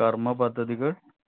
കാർമ്മപദ്ധതികൾ